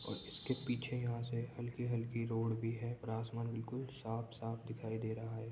और इसके पीछे यहाँ से हल्की-हल्की रोड भी है और आसमान भी बिल्कुल साफ दिखाई दे रहा है।